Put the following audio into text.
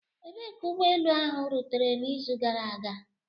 Ebee ka ụgbọ elu ahụ rutere n'izu gara aga?